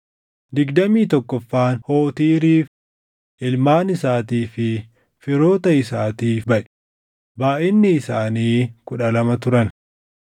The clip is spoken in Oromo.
digdamii tokkoffaan Hootiiriif, // ilmaan isaatii fi firoota isaatiif baʼe; // baayʼinni isaanii kudha lama turan